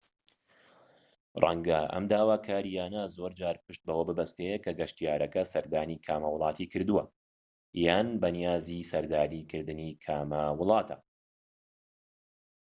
ڕەنگە ئەم داواکاریانە زۆر جار پشت بەوە ببەستێت کە گەشتیارەکە سەردانی کامە وڵاتی کردووە یان بەنیازی سەردانکردنی کامە وڵاتە